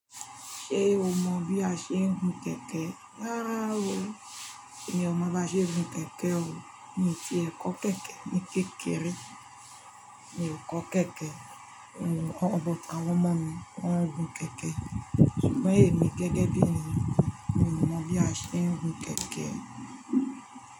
Ṣé o mọ bí a ṣe ń gun kẹ̀kẹ́? Rárá o, emi ò mọ bá ṣe ń gun kẹ̀kẹ́ o, mi ti ẹ kọ́ kẹ̀kẹ́ ní kékeré, mi ò kọ́ kẹ̀kẹ́, àwọn ọmọ mi maa n gun kẹ̀kẹ́, ṣùgbọ́n èmi gẹ́gẹ́ bí ènìyàn mi ò mọ bí a ṣe ń gun kẹ̀kẹ́.